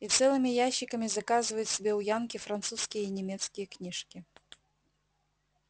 и целыми ящиками заказывают себе у янки французские и немецкие книжки